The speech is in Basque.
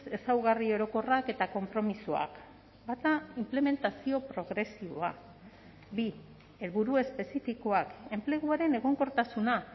ezaugarri orokorrak eta konpromisoak bata inplementazio progresiboa bi helburu espezifikoak enpleguaren egonkortasuna